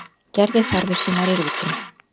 Gerði þarfir sínar í rútunni